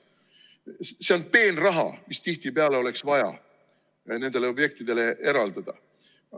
See on peenraha, mis tihtipeale oleks vaja nendele objektidele eraldada.